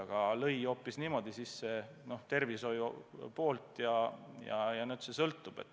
Aga välk lõi sisse hoopis tervishoiu poolt.